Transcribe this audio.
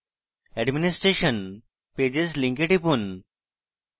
administration pages link টিপুন